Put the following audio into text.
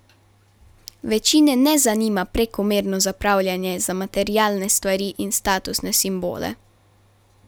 Večine ne zanima prekomerno zapravljanje za materialne stvari in statusne simbole.